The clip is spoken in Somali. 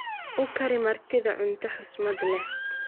uu Kari martidha cunta husmad leh